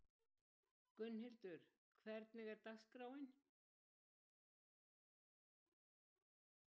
Gunnhildur, hvernig er dagskráin?